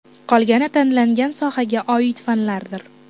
Qolgani tanlangan sohaga oid fanlardir.